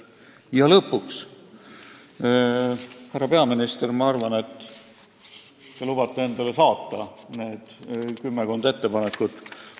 Ja lõpuks: härra peaminister, ma arvan, et te lubate endale saata need kümmekond ettepanekut.